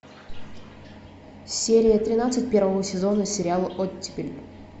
серия тринадцать первого сезона сериал оттепель